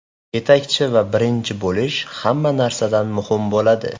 Yetakchi va birinchi bo‘lish hamma narsadan muhim bo‘ladi.